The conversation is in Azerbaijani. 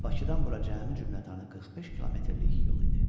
Və Bakıdan bura cəmi cümlətanı 45 kilometrlik yol idi.